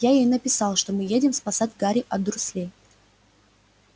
я ей написал что мы едем спасать гарри от дурслей